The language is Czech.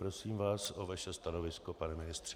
Prosím vás o vaše stanovisko, pane ministře.